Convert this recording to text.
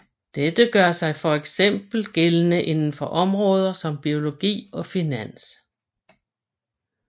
Dette gør sig fx gældende inden for områder som biologi og finans